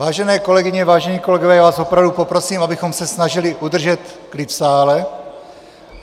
Vážené kolegyně, vážení kolegové, já vás opravdu poprosím, abychom se snažili udržet klid v sále.